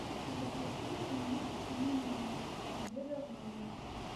запроси у них меню обеда в номер